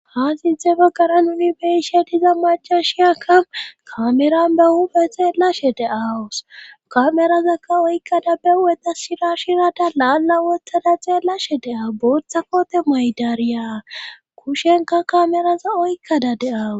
Haa siinthhte baggara nuni be'ishe diza macashiyaka kameran be hupheph xeellashe de'awus kamerazakka oykkada be hu'eta shira shirada laalla wottada xeellashe de'awu booththa koote moyidariya kushenka kameraza oykkada de'awus